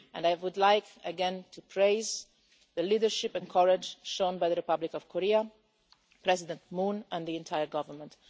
I would like again to praise the leadership and courage shown by the Republic of Korea, President Moon and the entire government.